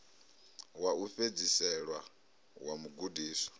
wa u fhedzisela wa mugudiswa